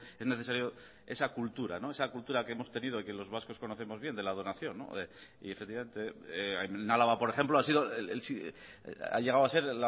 es necesario esa cultura esa cultura que hemos tenido y que los vascos conocemos bien de la donación y efectivamente en álava por ejemplo ha sido ha llegado a ser